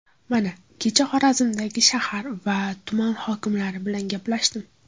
Mana, kecha Xorazmdagi shahar va tuman hokimlari bilan gaplashdim.